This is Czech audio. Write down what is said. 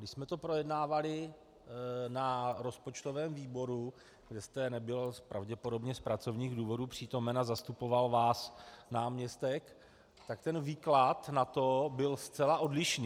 My jsme to projednávali na rozpočtovém výboru, kde jste nebyl pravděpodobně z pracovních důvodů přítomen a zastupoval vás náměstek, tak ten výklad na to byl zcela odlišný.